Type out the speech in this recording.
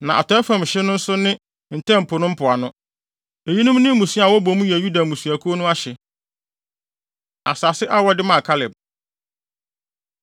Na atɔe fam hye no nso ne Ntam Po no mpoano. Eyinom ne mmusua a wɔbɔ mu yɛ Yuda mmusuakuw no ahye. Asase A Wɔde Maa Kaleb